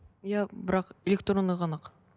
иә бірақ электронды ғана ақ